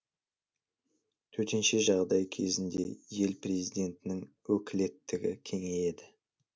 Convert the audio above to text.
төтенше жағдай кезінде ел президентінің өкілеттігі кеңейеді